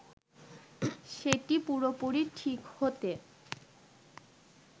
সেটি পুরোপুরি ঠিক হতে